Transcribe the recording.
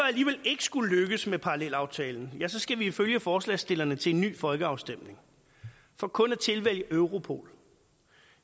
ikke skulle lykkes med parallelaftalen ja så skal vi ifølge forslagsstillerne til en ny folkeafstemning for kun at tilvælge europol